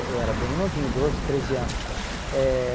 Eu era bem novinho, doze, treze anos. Eh